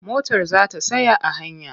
Motar za ta tsaya a hanya.